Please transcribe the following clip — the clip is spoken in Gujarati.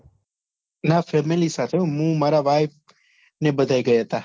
ના family સાથે હું મારા wife ને બધાય ગયા હતા